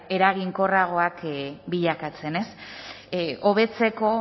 eraginkorragoak bilakatzen hobetzeko